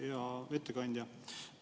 Hea ettekandja!